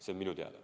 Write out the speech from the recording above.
See on minu teada.